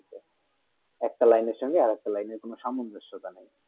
একটা line এ সংগে আর একটা line কোনো সামবিশটা নেই